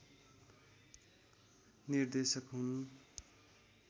निर्देशक हुन्